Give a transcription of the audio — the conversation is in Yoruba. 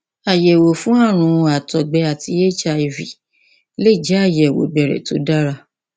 àyẹwò fún ààrùn àtọgbẹ àti hiv lè jẹ àyẹwò ìbẹrẹ tó dára